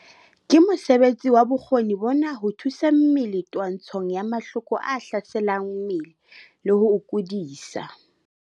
Ke mosebetsi wa bokgoni bona ho thusa mmele twantshong ya mahloko germs a hlaselang mmele le ho o kudisa.